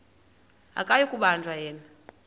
akuyi kubanjwa yena